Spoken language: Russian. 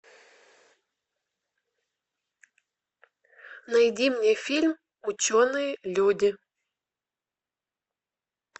найди мне фильм ученые люди